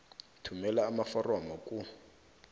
thumela amaforomo ku